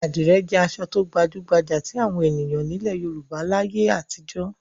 Àdìrẹ́ jẹ́ aṣọ tó gbajú-gbajà tí àwọn ènìyàn nílẹ̀ Yorùbá láyé àtijọ́.